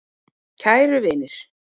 Kæru vinir.